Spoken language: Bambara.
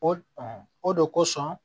O o de kosɔn